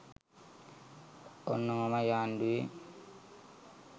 ඔන්න ඔහොමයි ආණ්ඩුවේ